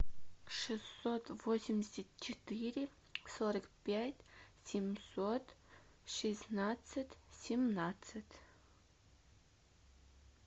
шестьсот восемьдесят четыре сорок пять семьсот шестнадцать семнадцать